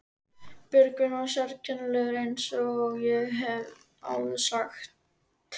Björgvin var sérkennilegur eins og ég hef áður sagt.